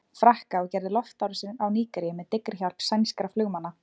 Frakka og gerði loftárásir á Nígeríu með dyggri hjálp sænskra flugmanna.